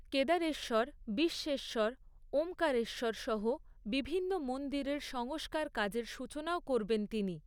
কেদারেশ্বর, বিশ্বেশ্বর, ওঁমকারেশ্বর সহ বিভিন্ন মন্দিরের সংস্কার কাজের সূচনাও করবেন তিনি।